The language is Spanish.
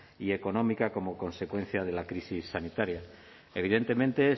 y económica como consecuencia de la crisis sanitaria evidentemente